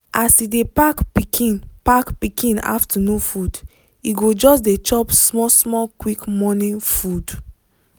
as e dey pack pikin pack pikin afternoon food e go just dey chop small small quick morning food.